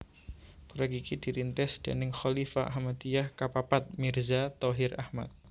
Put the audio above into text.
Proyek iki dirintis déning Khalifah Ahmadiyah ka papat Mirza Tahir Ahmad